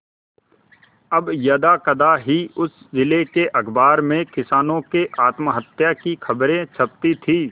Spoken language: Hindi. अब यदाकदा ही उस जिले के अखबार में किसानों के आत्महत्या की खबरें छपती थी